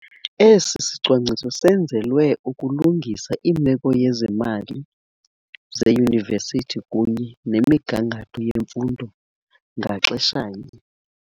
Esi sicwangciso senzelwe ukulungisa imeko yezemali zeyunivesithi kunye nemigangatho yemfundo ngaxeshanye.